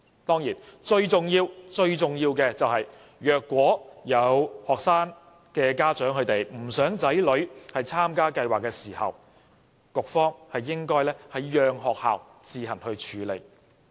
當然，最重要、最重要的是，倘若有學生家長不想子女參加計劃，局方應讓學校自行處理。